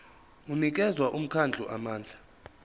unikeza umkhandlu amandla